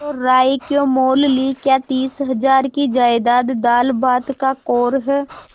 तो रार क्यों मोल ली क्या तीस हजार की जायदाद दालभात का कौर है